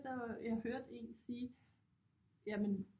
Jeg hørte en sige jamen